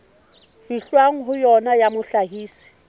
fihlwang ho yona ya mohlahisi